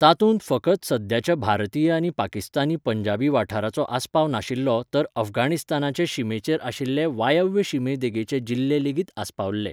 तातूंत फकत सद्याच्या भारतीय आनी पाकिस्तानी पंजाबी वाठाराचो आस्पाव नाशिल्लो तर अफगाणिस्तानाचे शिमेचेर आशिल्ले वायव्य शिमे देगेचे जिल्हे लेगीत आस्पावल्ले.